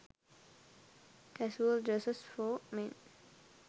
casual dresses for men